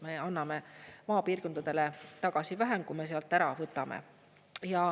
Me anname maapiirkondadele tagasi vähem, kui me sealt ära võtame.